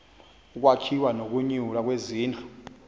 ukwakhiwa nokunyulwa kwezindlu